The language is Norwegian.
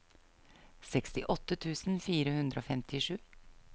sekstiåtte tusen fire hundre og femtisju